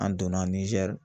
An donna Nizɛri